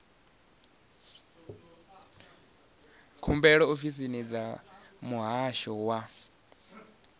khumbelo ofisini dza muhasho wa